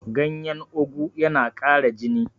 ganyen ogu yana Kara jini